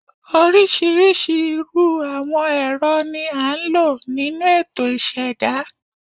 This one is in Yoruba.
Oríṣiríṣi irú àwọn ẹ̀rọ ni a ń lò nínú ètò ìṣẹ̀dá